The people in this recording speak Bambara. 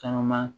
Caman